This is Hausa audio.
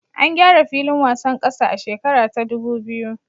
An gyara filin wasan kasa a shekara ta ɗubu biyu